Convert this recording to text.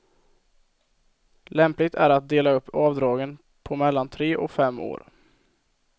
Lämpligt är att dela upp avdragen på mellan tre och fem år.